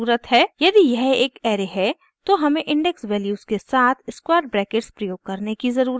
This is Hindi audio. यदि यह एक ऐरे है तो हमें इंडेक्स वैल्यूज़ के साथ स्क्वायर ब्रैकेट्स प्रयोग करने की ज़रुरत है